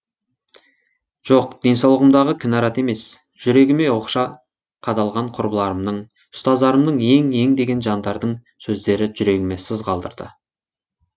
жоқ денсаулығымдағы кінәрат емес жүрегіме оқша қадалған құрбыларымның ұстаздарымның ең ең деген жандардың сөздері жүрегіме сыз қалдырды